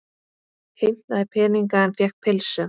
Heimtaði peninga en fékk pylsu